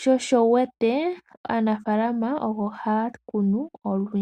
sho osho wu wete kutya aanafaalama ogo haya kunu olundji.